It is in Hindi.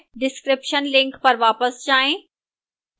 description link पर वापस जाएं